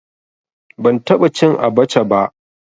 Ban taɓa cin abaca ba